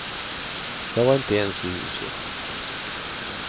Jag var inte ens i huset.